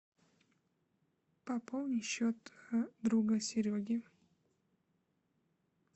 пополни счет друга сереги